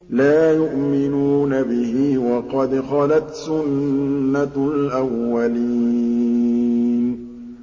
لَا يُؤْمِنُونَ بِهِ ۖ وَقَدْ خَلَتْ سُنَّةُ الْأَوَّلِينَ